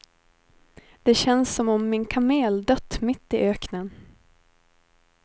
Det känns som om min kamel dött mitt i öknen.